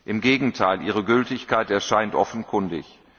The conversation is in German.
Im Gegenteil, ihre Gültigkeit erscheint offenkundig.